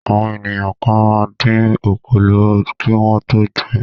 Àwọn ènìyàn kan máa ń dín òkòló kí wọ́n tó jẹ ẹ́.